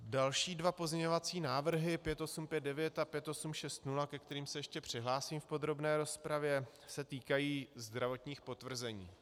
Další dva pozměňovací návrhy, 5859 a 5860, ke kterým se ještě přihlásím v podrobné rozpravě, se týkají zdravotních potvrzení.